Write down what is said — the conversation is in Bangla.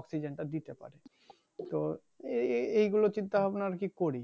অক্সিজেন টা দিতে পারে তো এই এই গুলো চিন্তা ভাবনা আর কি করি